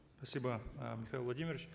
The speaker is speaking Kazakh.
спасибо э михаил владимирович